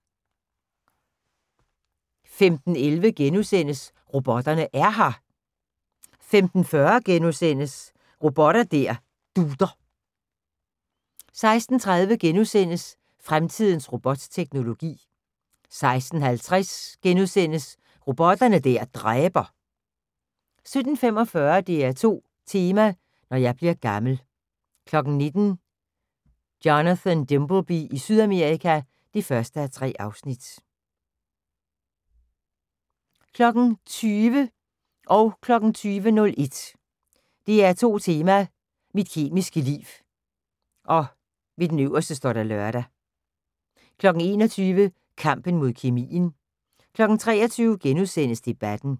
15:11: Robotterne er her! * 15:40: Robot der dutter * 16:30: Fremtidens robotteknologi * 16:50: Robotter der dræber * 17:45: DR2 Tema: Når jeg bliver gammel 19:00: Jonathan Dimbleby i Sydamerika (1:3) 20:00: DR2 Tema: Mit kemiske liv (lør) 20:01: DR2 Tema: Mit kemiske liv 21:00: Kampen mod kemien 23:00: Debatten *